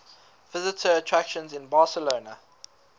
visitor attractions in barcelona